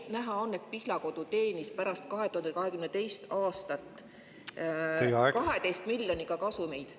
Sest näha on, et Pihlakodu teenis pärast 2022. aastat 12 miljoniga kasumeid.